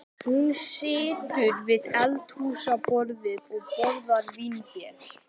Hún situr við eldhúsborðið og borðar vínber.